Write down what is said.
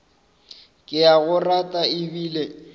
ke a go rata ebile